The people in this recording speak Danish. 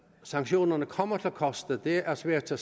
sanktionerne kommer til at koste er svært at